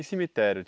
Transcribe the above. E cemitério?